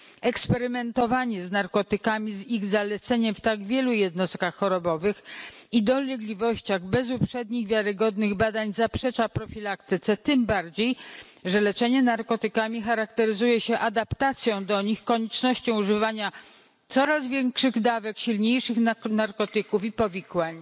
Eksperymentowanie z narkotykami, z ich zaleceniem w tak wielu jednostkach chorobowych i dolegliwościach bez uprzednich wiarygodnych badań zaprzecza profilaktyce, tym bardziej że leczenie narkotykami charakteryzuje się adaptacją do nich, koniecznością używania coraz większych dawek, silniejszych narkotyków i powikłań.